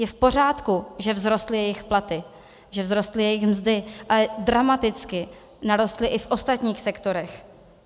Je v pořádku, že vzrostly jejich platy, že vzrostly jejich mzdy, ale dramaticky narostly i v ostatních sektorech.